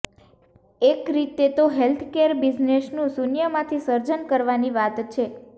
એક રીતે તો હેલ્થકેર બિઝનેસનું શૂન્યમાંથી સજર્ન કરવાની વાત છે